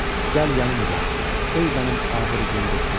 Gəl yanımca, ey mənim ağır gün dostum.